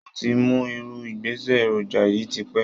Mo ti mọ irú ìgbésẹ̀ èròjà yìí tipẹ́